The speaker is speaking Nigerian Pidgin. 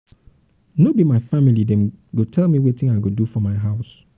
um no be my family dem dey tell me wetin i go do for my own house.